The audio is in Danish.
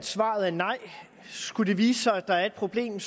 at svaret er nej skulle det vise sig at der er et problem